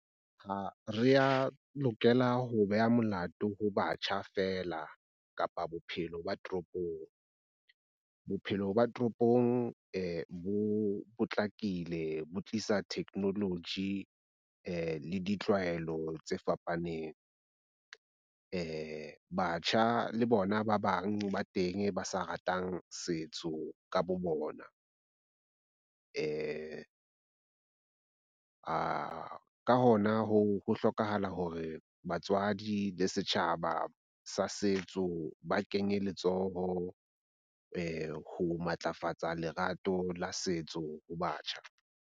Ha re a lokela ho beha molato ho batjha feela kapa bophelo ba toropong. Bophelo ba toropong bo potlakile bo tlisa technology le ditlwaelo tse fapaneng. Batjha le bona ba bang ba teng ba sa ratang setso ka bo bona . Ka hona ka hoo, ho hlokahala hore batswadi le setjhaba sa setso ba kenye letsoho ho matlafatsa lerato la setso ho batjha.